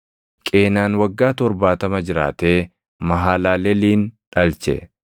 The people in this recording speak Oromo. Qeenaan waggaa 70 jiraatee Mahalaleelin dhalche.